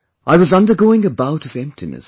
I was undergoing a bout of emptiness